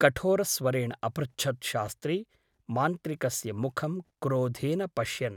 कठोरस्वरेण अपृच्छत् शास्त्री मान्त्रिकस्य मुखं क्रोधेन पश्यन् ।